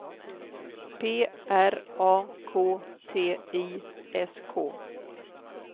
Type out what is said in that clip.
P R A K T I S K